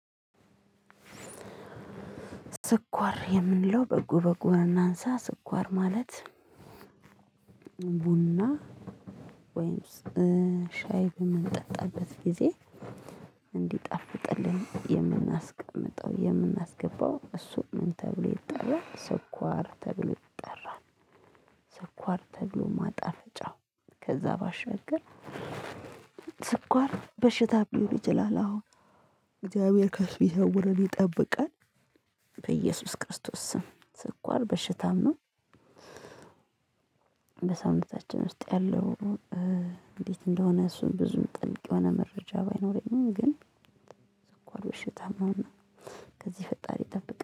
ስኳር የምንለው በጎ በጎ እናንሳ ስኳር ማለት ቡና ወይም ሻይ በምንጠጣበት ጊዜ እንዲጣፍጥልን የምናስቀምጠው የምናስገባው እሱ ምን ተብሎ ይጠራል ስኳር ተብሎ ይጠራል። ስኳር ተብሎ ማጣፍጫው ከዛ ባሻገር። ስኳር በሽታ ሊሆን ይቻላል አሁን እግዚአብሔር ከሱ ይሰውረን ይጠብቃል በኢየሱስ ክርስቶስ ስም ስኳር በሽታም ነው። በሰውነታችን ውስጥ ያለው። እንዴት እንደሆነ እሱን ብዙም ጥልቅ የሆነ መረጃ ባይኖረኝም ግን ያው በሽታ መሆን ነው። ከዚህ ፈጣሪ ይጠብቅ